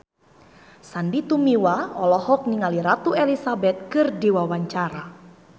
Sandy Tumiwa olohok ningali Ratu Elizabeth keur diwawancara